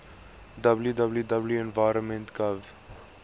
www environment gov